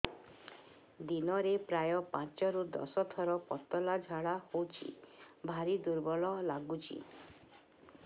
ଦିନରେ ପ୍ରାୟ ପାଞ୍ଚରୁ ଦଶ ଥର ପତଳା ଝାଡା ହଉଚି ଭାରି ଦୁର୍ବଳ ଲାଗୁଚି